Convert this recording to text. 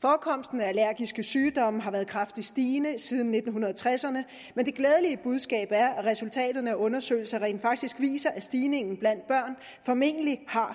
forekomsten af allergiske sygdomme har været kraftigt stigende siden nitten tresserne men det glædelige budskab er at resultater af undersøgelser rent faktisk viser at stigningen blandt børn formentlig har